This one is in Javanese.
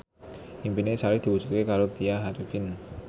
impine Sari diwujudke karo Tya Arifin